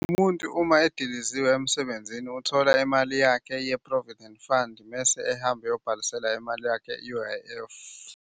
Umuntu uma ediliziwe emsebenzini uthola imali yakhe ye-Provident Fund mese ehamba eyobhalisela imali yakhe ye-U_I_F.